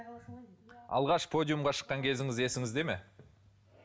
алғаш подиумға шыққан кезіңіз есіңізде ме